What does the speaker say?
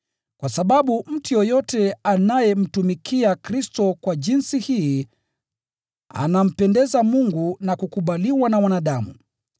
Kwa sababu mtu yeyote anayemtumikia Kristo kwa jinsi hii, anampendeza Mungu na kukubaliwa na wanadamu.